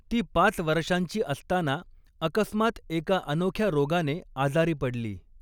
ती पाच वर्षांची असताना अकस्मात एका अनोख्या रोगाने आजारी पडली.